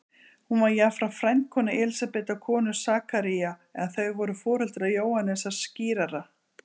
Hún var jafnframt frændkona Elísabetar konu Sakaría, en þau voru foreldrar Jóhannesar skírara.